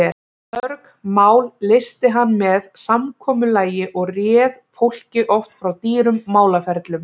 Mörg mál leysti hann með samkomulagi og réð fólki oft frá dýrum málaferlum.